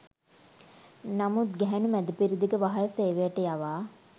නමුත් ගැහැණු මැදපෙරදිග වහල් සේවයට යවා